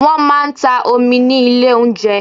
Wọ́n máa ń ta omi ní ilé oúnjẹ.